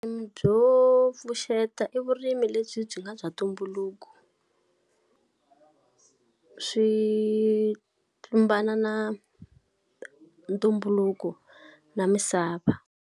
Byo pfuxeta i vurimi lebyi byi nga bya ntumbuluko swi tlumbana na ntumbuluko na misava.